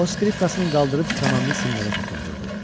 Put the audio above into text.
O skripkasını qaldırıb kamanını simlərə toxundurdu.